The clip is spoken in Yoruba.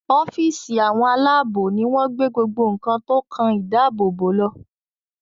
ọ́fíìsì Àwọn aláàbò ní wón gbé gbogbo nkán tó kán ìdáàbòbò ló.